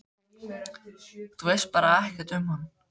Þú veist bara ekkert um hann?